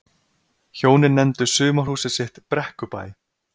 Hjónin nefndu sumarhúsið sitt Brekkubæ.